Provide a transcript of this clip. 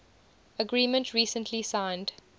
agreement recently signed